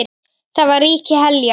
Þar var ríki Heljar.